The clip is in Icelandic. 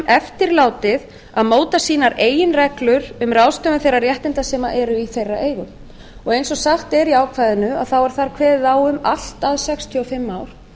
eftirlátið að móta sínar eigin reglur um ráðstöfun þeirra réttinda sem eru í þeirra eigu eins og sagt er í ákvæðinu er þar kveðið á um allt að sextíu og fimm ár